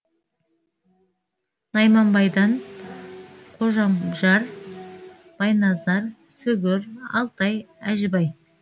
найманбайдан қожам байназар сүгір алтай әжібай